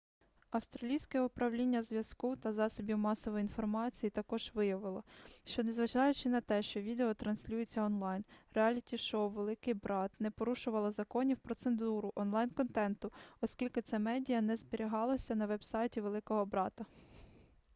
австралійське управління зв'язку та засобів масової інформації також виявило що незважаючи на те що відео транслюється онлайн реаліті-шоу великий брат не порушувало законів про цензуру онлайн-контенту оскільки це медіа не зберігалося на веб-сайті великого брата